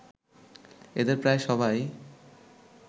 এদের প্রায় সবাই